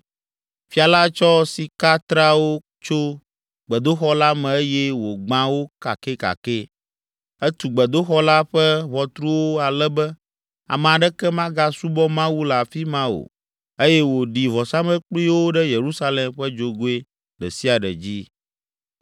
Fia la tsɔ sikatreawo tso gbedoxɔ la me eye wògbã wo kakɛkakɛ. Etu gbedoxɔ la ƒe ʋɔtruwo ale be ame aɖeke magasubɔ Mawu le afi ma o eye wòɖi vɔsamlekpuiwo ɖe Yerusalem ƒe dzogoe ɖe sia ɖe dzi.